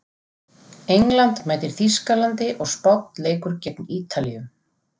England mætir Þýskalandi og Spánn leikur gegn Ítalíu.